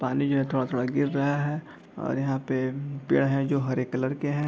पानी जो है थोड़ा-थोड़ा गिर रहा है और यहाँ पे पेड़ जो हैं जो हरे कलर के हैं।